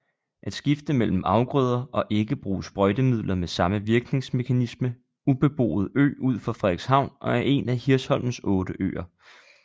At skifte mellem afgrøder og ikke bruge sprøjtemidler med samme virkningsmekanismeUbeboet ø ud for frederikshavn og er en af hirsholmenes otte øer